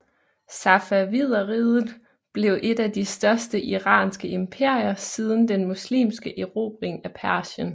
Safavideriget blev et af de største iranske imperier siden den muslimske erobring af Persien